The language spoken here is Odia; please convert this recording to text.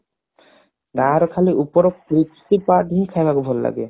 ବାହାରେ ଖାଲି ଉପର crispy part ହିଁ ଖାଇବାକୁ ଭଲ ଲାଗେ